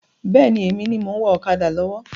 Bẹ́ẹ̀ni, èmi ni mo ń wá ọ̀kadà lọ́wọ́.